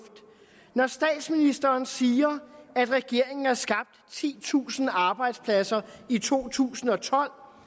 når statsministeren siger at regeringen har skabt titusind arbejdspladser i to tusind og tolv